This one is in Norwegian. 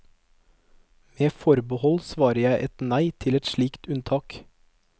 Med forbehold svarer jeg et nei til et slikt unntak.